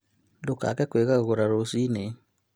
Ndũkaage kwĩgagũra rũcii-inĩ